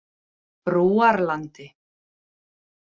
Brúarlandi